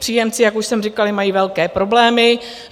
Příjemci, jak už jsem říkala, mají velké problémy.